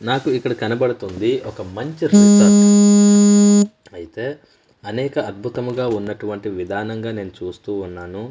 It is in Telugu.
నాకు ఇక్కడ కనపడుతుంది ఒక మంచి రిసార్ట్ ఐతే అనేక అద్భుతముగా ఉన్నటువంటి విధానంగా నేను చూస్తూ ఉన్నాను.